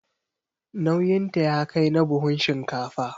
Nauyinta ya kai na buhun shinkafa.